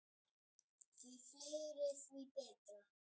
Því fleiri, því betra.